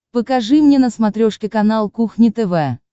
покажи мне на смотрешке канал кухня тв